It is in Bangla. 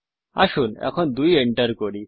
আসুন এখন ২ এন্টার করি